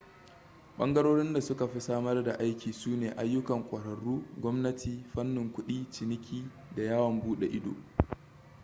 ɓangarorin da suka fi samar da aiki su ne ayyukan ƙwararru gwamnati fannin kudi ciniki da yawon buɗe ido